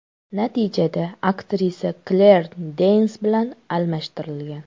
Natijada aktrisa Kler Deyns bilan almashtirilgan.